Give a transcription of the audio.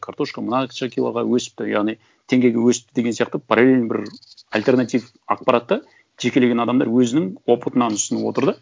картошка мынауынша килоға өсіпті яғни теңгеге өсіпті деген сияқты параллельно бір альтернатив ақпаратты жекелеген адамдар өзінің опытынан ұсынып отыр да